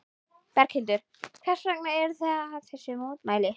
Berghildur: Hvers vegna eruð þið við þessi mótmæli?